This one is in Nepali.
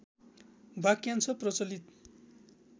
वाक्यांश प्रचलित